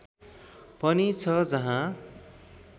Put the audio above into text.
पनि छ जहाँ